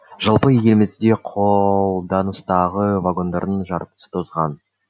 жалпы елімізде қолданыстағы вагондардың жартысы тозған